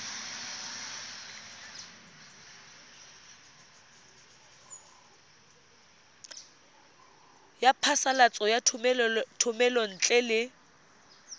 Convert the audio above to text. ya phasalatso ya thomelontle le